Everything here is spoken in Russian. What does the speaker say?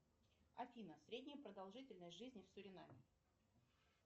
афина средняя продолжительность жизни в суринами